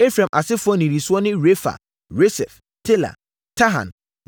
Efraim asefoɔ nnidisoɔ ne Refa, Resef, Tela, Tahan